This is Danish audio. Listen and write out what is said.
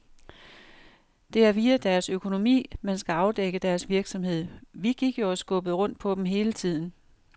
Det er via deres økonomi, man skal afdække deres virksomhed. Vi gik jo og skubbede rundt på dem hele tiden.